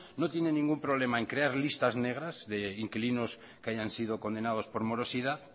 no tienen ningún problema en crear listas negras de inquilinos que hayan sido condenados por morosidad